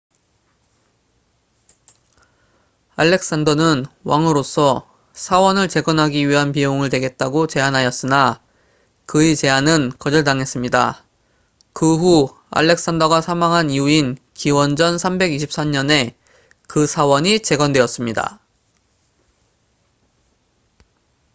알렉산더는 왕으로서 사원을 재건하기 위한 비용을 대겠다고 제안하였으나 그의 제안은 거절당했습니다 그 후 알렉산더가 사망한 이후인 기원전 323년에 그 사원이 재건되었습니다